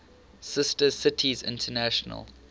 sister cities international